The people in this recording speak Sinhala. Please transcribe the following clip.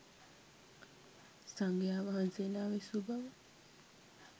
සංඝයාවහන්සේලා විසූ බව